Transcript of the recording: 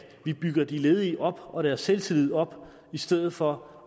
vi bygger de ledige og deres selvtillid op i stedet for